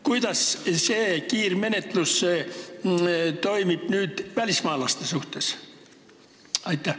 Kuidas seda kiirmenetlust rakendatakse välismaalaste puhul?